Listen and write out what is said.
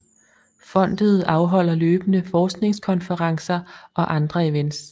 Fondet afholder løbende forskningskonferencer og andre events